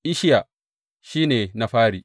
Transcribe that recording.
Isshiya shi ne na fari.